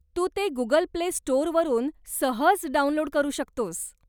तू ते Google Play स्टोरवरून सहज डाउनलोड करू शकतोस.